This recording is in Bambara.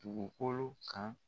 Bugukolo kan